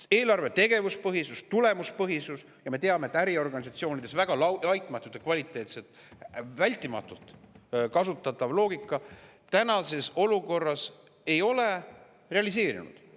Aga eelarve tegevuspõhisus, tulemuspõhisus – ja me teame, et äriorganisatsioonides on see väga laitmatult ja kvaliteetselt ning vältimatult kasutatav loogika – praeguses olukorras ei ole realiseerunud.